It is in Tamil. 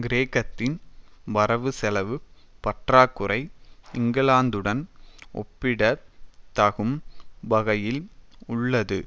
கிரேக்கத்தின் வரவுசெலவுப் பற்றாக்குறை இங்கிலாந்துடன் ஒப்பிடத் தகும் வகையில் உள்ளது